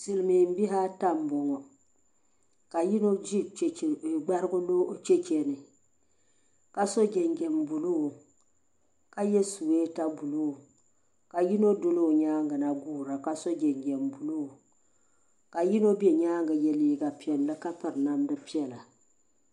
Silimiin bihi ata m boŋɔ ka yino ʒi gbarigu cheche ni ka so jinjiɛm buluu ka ye suweta buluu ka yino doli o nyaanga na guura ka so jinjiɛm buluu ka yino be nyaanga ka ye liiga piɛlli ka piri namda piɛla.